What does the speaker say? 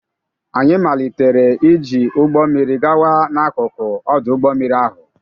Anyị malitere iji ụgbọ mmiri gawa n'akụkụ ọdụ ụgbọ mmiri ahụ.